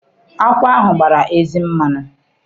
Akwụ ahụ gbara ezi mmanụ.